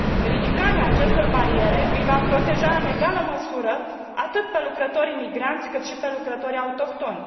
Ridicarea acestor bariere îi va proteja în egală măsură atât pe lucrătorii migranți, cât și pe lucrătorii autohtoni.